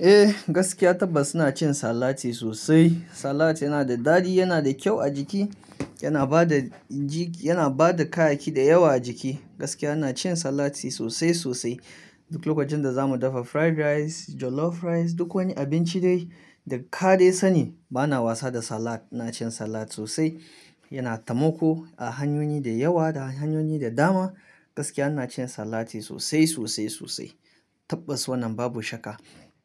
Eh, gaskiya tabbas ina cin salati sosai. Salati yana da daɗi, yana da kyau a jiki, yana ba da jiki, yana ba da kayayyaki da yawa a jiki. Gaskiya ina cin salati sosai sosai. Duk lokacin da za mu dafa fried rice, jollof rice, duk wani abinci dai da ka dai sani, bana wasa da salat. Ina cin salat sosai. Yana tamoko a hanyoyi da yawa da hanyoyi da dama. Gaskiya ina cin salati sosai sosai sosai. Tabbas wannan babu shakka.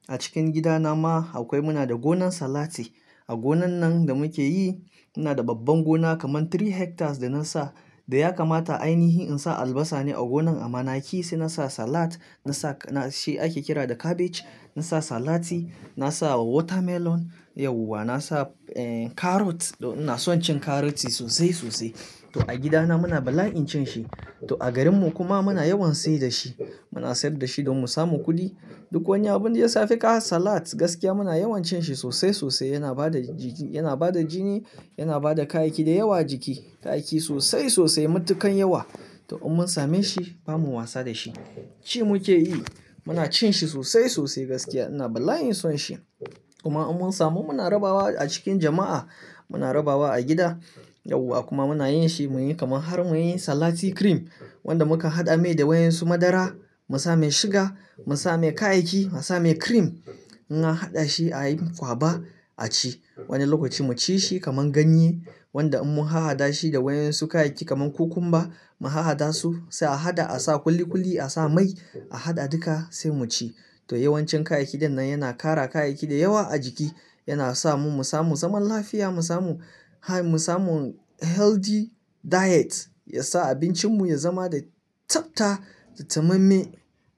A cikin gidana ma akwai, muna da gonan salati. A gonan nan da muke yi, ina da babban gona kaman three hectares da na sa. Da ya kamata ainihi in sa albasa ne a gonan amma na ki sai na sa salat, na sa na shi ake kira da cabbage, na sa salati, na sa watermelon, yauwa, na sa carrot. Ina son cin carrot sosai sosai. To a gidana muna bala'in cin shi. To a garinmu kuma muna yawan sayar da shi. Muna sayar da shi don mu samu kuɗi. Duk wani abin da ya safe ka salad gaskiya muna yawan cin shi sosai sosai. Yana ba da jiki, yana ba da jini, yana ba da kayayyaki da yawa a jiki, kayayyaki sosai sosai, matukan yawa. To in mun same shi, ba mu wasa da shi. Ci muke yi. Muna cin shi sosai sosai gaskiya. Ina bala'in son shi. Kuma in mun samu muna rabawa a cikin jama'a, muna rabawa a gida, yauwa kuma muna yin shi muyi kaman har muyi salati cream wanda muka haɗa mai da wayoyinsu madara, mu sa mai suga, mu sa mai kayayyaki, mu sa mai cream. In an haɗa shi a yi kwaba a ci. Wani lokaci mu ci shi kaman ganye wanda in mun hahaɗa shi da wayoyinsu kayayyaki kaman cucumber, mu hahaɗa su, sai a haɗa a sa kulikuli, a sa mai, a haɗa duka sai mu ci. To yawancin kayayyakin din nan yana ƙara kayayyaki da yawa a jiki. Yana sa mu, mu samu zaman lafiya, mu samu, mu samu healthy diet. Ya sa abincinmu ya zama da tsafta da tamemme.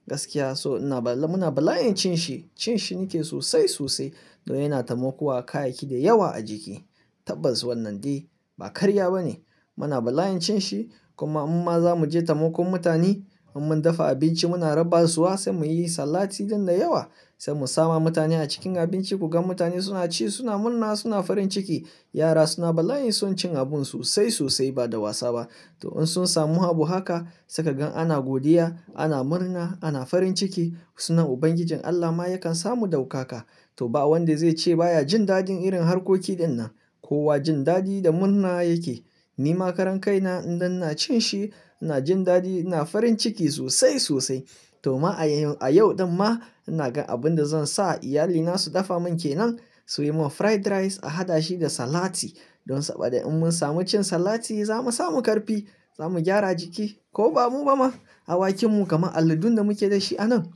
Gaskiya so ina bala, muna bala'in cin shi. Cin shi nake sosai sosai domin yana tamoƙowa kayayyaki da yawa a jiki. Tabbas wannan dai ba karya ba ne. Muna bala'in cin shi kuma imma za mu je tamoƙin mutane. In mun dafa abinci muna rabaswa sai muyi salati din da yawa. Sai mu sa ma mutane a cikin abinci ku gan mutane suna ci, suna murna, suna farin ciki. Yara suna bala'in son cin abun sosai sosai ba da wasa ba. To in sun samu habu haka, suka gan ana godiya, ana murna, ana farin ciki, sunan Ubangijin Allah ma yakan samu daukaka. To ba wanda zai ce baya jin daɗin irin harkoki ɗin nan. Kowa jin daɗi da murna yake. Ni ma karan kai na idan ina cin shi, ina jin daɗi, ina farin ciki sosai sosai. To ma a yau ɗin ma ina ga abin da zan sa iyalina su dafa mun ke nan. Su yi mun fried rice a haɗa shi da salati. Don saboda in mun samu cin salati za mu samu ƙarfi, za mu gyara jiki ko ba mu ba ma. Awakinmu kaman alladun da muke da shi a nan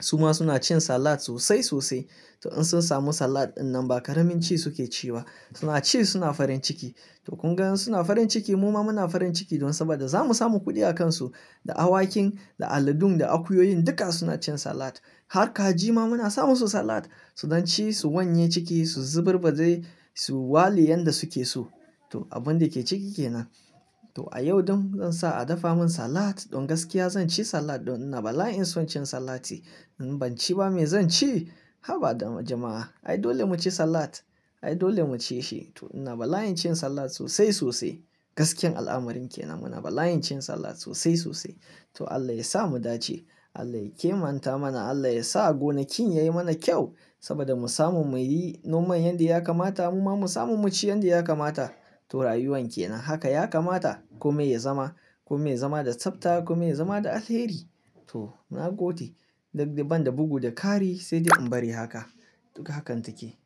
su ma suna cin salat sosai sosai. To in sun samu salat ɗin nan ba karamin ci suke ci ba. Suna ci suna farin ciki. To kun gan suna farin ciki mu ma muna farin ciki don saboda za mu samu kuɗi a kansu. Da awakin, da aladun, da akuyoyin duka suna cin salat. Har kaji ma muna sa musu salat. Su don ci, su wanye ciki, su zubar badai, su wale yanda suke so. To abun da ke ciki ke nan. To a yau ɗin zan sa a dafa mun salat don gaskiya zan ci salat don ina bala'in son cin salati. In ban ci ba me zan ci? Haba da jama'a. Ai dole mu ci salat. Ai dole mu ci shi. To ina bala'in cin salat sosai sosai. Gaskiyan al'amarin ke nan. Muna bala'in cin salat sosai sosai. To Allah ya sa mu dace. Allah ya kimanta mana. Allah ya sa gonakin yayi mana kyau saboda mu samu muyi noman yanda ya kamata mu ma mu samu mu ci yanda ya kamata. To rayuwan ke nan haka ya kamata ko me ya zama, ko me ya zama da tsafta ko me ya zama da alheri. To nagode. Da banda bugu, da kari sai dai in bari haka. Duk hakan take.